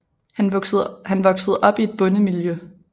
Han voksede op i et bondemiljø